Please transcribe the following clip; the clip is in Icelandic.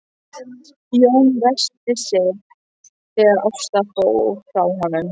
Jón ræskti sig þegar Ásta fór frá honum.